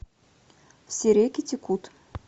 все реки текут